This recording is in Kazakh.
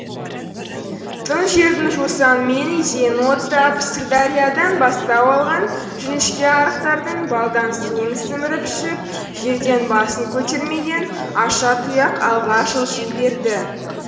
тың жердің жусаны мен изенін оттап сырдариядан бастау алған жіңішке арықтардың балдай суын сіміріп ішіп жерден басын көтермеген аша тұяқ алға жылжи берді